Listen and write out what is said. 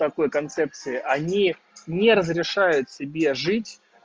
такой концепции они не разрешают себе жить